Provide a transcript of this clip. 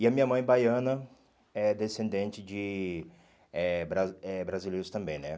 E a minha mãe, baiana, é descendente de eh bra eh brasileiros também, né?